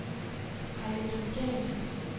Heidi Christiansen